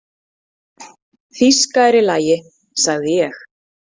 Þýska er í lagi, sagði ég.